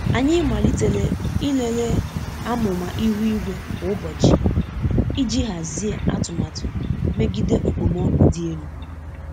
Anyị malitere ịlele amụma ihu igwe kwa ụbọchị iji hazie atụmatụ megide okpomọkụ dị elu.